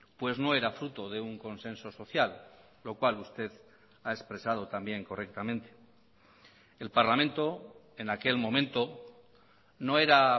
pues no era fruto de un consenso social lo cual usted ha expresado también correctamente el parlamento en aquel momento no era